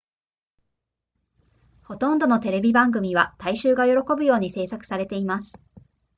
ほとんどのテレビ番組は大衆が喜ぶように製作されています